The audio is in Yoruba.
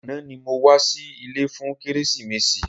Àná ni mo wá sí ilé fún kérésìmesì.